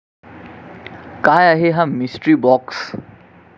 काय आहे हा 'मिस्ट्री बाॅक्स'?